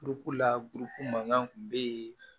la mankan kun bɛ yen